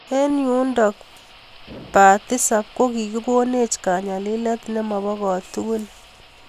Eng yundook paa tisap Ko kikikoneech kanyalileet nemoboo ko tugull